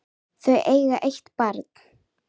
Þau eiga eitt barn.